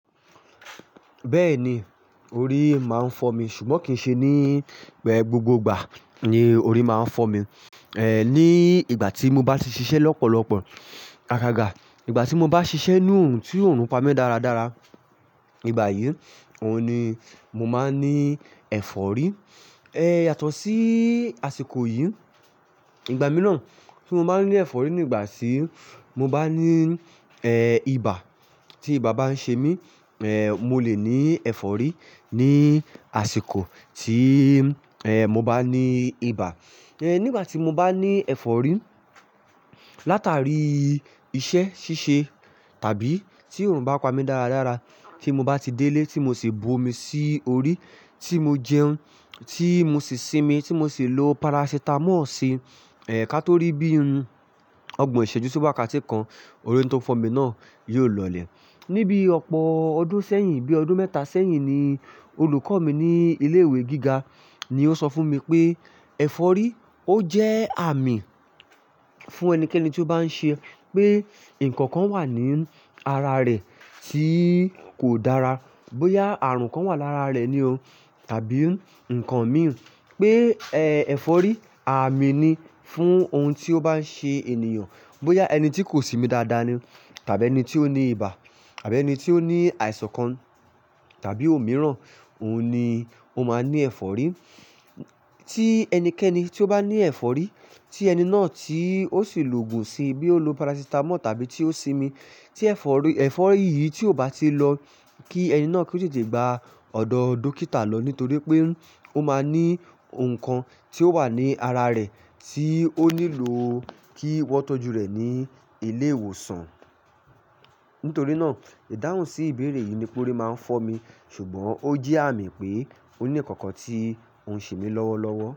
Bẹ́ẹ̀ni, orí máa ń fọ́ mi ṣùgbọ́n kì í ṣe ní gbogbo ìgbà ni orí máa ń fọ́ mi. Ní ìgbà tí mo bá ti ṣiṣẹ́ lọ́pọ̀lọpọ̀, agàgà ìgbà tí mo bá ṣiṣẹ́ nú òòrùn tí òórùn pamí dáradára. Ìgbà yìí, òun ni mo máa ní ẹ̀fọ́rí. Yato sí àsìkò yìí. Ìgbà mìíràn tí mo máa ń ní ẹ̀fọ́rí nígbà tí mo bá ní, ibà, tí ibà bá ń ṣe mí. Ẹ̀ẹ̀, mo lè ní ẹ̀fọ́rí ní àsìkò tí, ẹ́ẹ̀, mo bá ní ibà. Nígbà tí mo bá ní ẹ̀fọ́rí látàrí iṣẹ́ ṣíṣe tàbí tí òórùn bá pa mí dáradára, tí mo bá ti délé tí mo sì bu omi sí orí tí mo jẹun tí mo sì sinmi tí mo sì lo parasitamọ́ọ̀ sí i. Ká tó rí bí i ọgbọ́n ìṣèjú sí wákátí kan, orí tó ń fọ́ mi náà yóò lọlẹ̀. Níbí ọ̀pọ̀ ọdún sẹ́yìn, bí i ọdún mẹ́ta sẹ́yìn ni olùkọ́ mi ní ilé ìwé gíga ni ó sọ fún mi pé ẹ̀fọ́rí ó jẹ́ àmì fún ẹnikẹ́ni tí ó bá ń ṣe pé ǹkan kan wà ní ara rẹ̀ tí kò dára. Bóyá ààrùn kan wà lára rẹ̀ ni o tàbí ǹkan mìí. Pé, ẹ̀fọ́rí àmì ni fún ohun tí ó bá ń ṣe ènìyàn. Bóyá ẹni tí kò sinmi dáadáa ni tàbí ẹni tí ó ní ibà tàbí ẹni tí ó ní àìsàn kan tàbí òmíràn, òun ni ó máa ní ẹ̀fọ́rí. Tí ẹnikẹ́ni tí ó bá ní ẹ̀fọ́rí, tí ẹni náà tí ó sì lo ògùn sí i bí ó lo parasitamọ́ọ̀ tàbí tí ó sinmi, tí efori yì tí ó bá ti lò, kí ení náà kó tètè gba odò dókítà lò nítorí pé ó máa ní nkan tí ó wà ní àrà re tí ó nílò kí won tò jù re ni ilé ìwòsàn. Nítorí náà, ìdáhùn sí ìbéèrè yìí ni pé orí máa ń fọ́ mi ṣùgbọ́n ó jẹ́ àmì pé ó ní ǹkan kan tí òun ń ṣe mi lọ́wọ́lọ́wọ́.